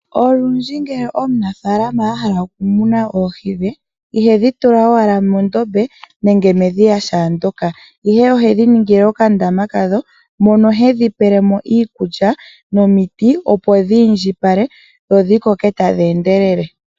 Olundji uuna omunafalama ahala oku muna oohi dhe, ihe dhi tula ashike mondombe nenge medhiya kehe ndyoka. Ohedhi ningile oka ndama kawo moka ta kala tedhi peelemo iikulya no miti opo dhi indjipale dho dhi koke tadhi endelele.